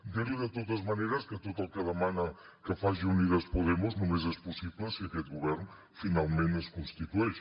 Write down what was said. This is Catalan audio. dir li de totes maneres que tot el que demana que faci unidas podemos només és possible si aquest govern finalment es constitueix